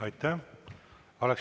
Aitäh!